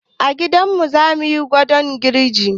A gidanmu zamuyi kwaɗon girji